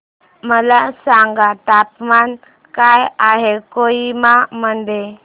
मला सांगा तापमान काय आहे कोहिमा मध्ये